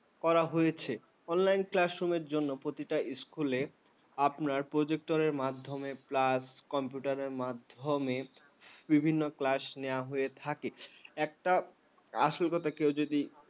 করা হয়েছে। online classroom র জন্য প্রতিটা school আপনার projector মাধ্যমে plass computer র মাধ্যমে বিভিন্ন class নেওয়া হয়ে থাকে। একটা আসল কথা কেউ যদি